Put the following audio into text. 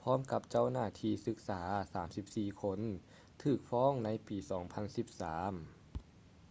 ພ້ອມກັບເຈົ້າໜ້າທີ່ສຶກສາ 34 ຄົນຖືກຟ້ອງໃນປີ 2013